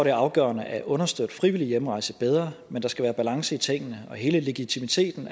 er afgørende at understøtte frivillig hjemrejse bedre men der skal være balance i tingene og hele legitimiteten